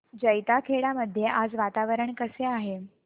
जैताखेडा मध्ये आज वातावरण कसे आहे